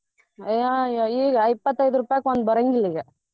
ಈಗ ಇಪ್ಪತೈದ ರೂಪಾಯಿಗ ಒಂದ್ ಬರಂಗಿಲ್ಲ ಈಗ.